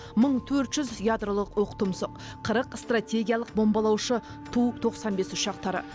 мың төрт жүз ядролық оқтұмсық қырық стратегиялық бомбалаушы ту тоқсан бес ұшақтары